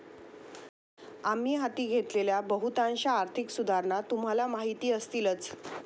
आम्ही हाती घेतलेल्या बहुतांश आर्थिक सुधारणा तुम्हाला माहिती असतीलच.